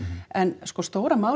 en sko stóra málið